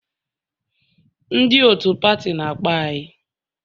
Ndị otu pati na-akpọ anyị